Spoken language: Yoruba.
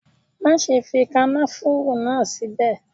Má ṣe fi kànáfùrú náà sí ibẹ̀.